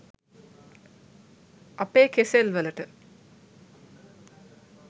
අපේ කෙසෙල් වලට